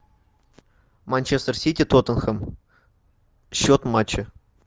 манчестер сити тоттенхэм счет матча